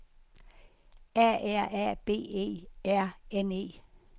A R A B E R N E